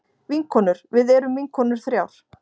Vinkonur við erum vinkonur þrjár.